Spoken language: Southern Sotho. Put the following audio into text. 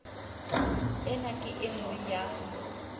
ena ke e nngwe ya